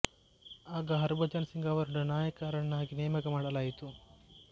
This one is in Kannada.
ಆಗ ಹರ್ಭಜನ್ ಸಿಂಗ್ ಅವರನ್ನು ನಾಯಕ ರನ್ನಾಗಿ ನೇಮಕ ಮಾಡಲಾಯಿತು